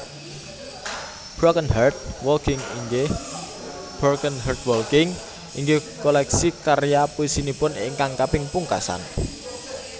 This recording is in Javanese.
Broken Heart Walking inggih koleksi karya puisinipun ingkang kaping pungkasan